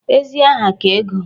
Ezi aha ka ego